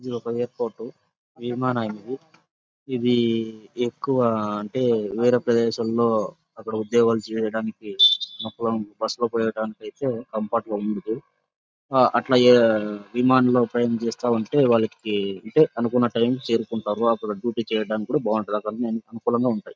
ఇది ఒక ఎయిర్పోర్ట్ . విమానయం ఇది. ఇది ఎక్కువ అంటే వేరే ప్రదేశంలో అక్కడ ఉద్యోగాలు చేయడానికి నొప్పుగా బస్సు లో పోడానికి అయితే కంఫిర్ట్ గా ఉండిది. అట్లా విమానంలో ప్రయాణం చేస్తా ఉంటే వాళ్ళకి అంటే అనుకున్న టైం కి చేరుకుంటారు. అక్కడ డ్యూటీ చేయడానికి బావుంటది. అక్కడ అనుకూలంగా ఉంటాయి.